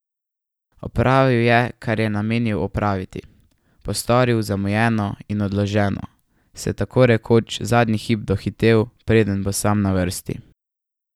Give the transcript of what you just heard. Opravil je, kar se je namenil opraviti, postoril zamujeno in odloženo, se tako rekoč zadnji hip dohitel, preden bo sam na vrsti.